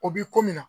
O bi ko min na